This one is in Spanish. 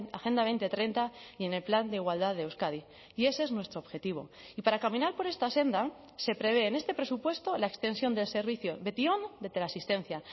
agenda dos mil treinta y en el plan de igualdad de euskadi y ese es nuestro objetivo y para caminar por esta senda se prevé en este presupuesto la extensión del servicio betion de teleasistencia